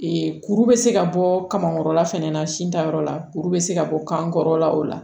kuru bɛ se ka bɔ kamankɔrɔla fɛnɛ na sin tayɔrɔ la kuru bɛ se ka bɔ kan kɔrɔla o la